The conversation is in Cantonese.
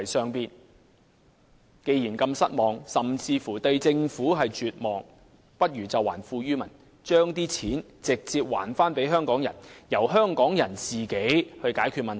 他們認為，既然對政府如此失望甚至絕望，政府不如還富於民，把金錢直接交還給市民，讓香港人自行解決問題。